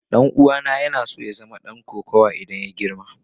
Dan'uwana yana so ya zama dan kokawa idan ya girma.